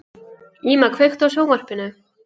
Íma, kveiktu á sjónvarpinu.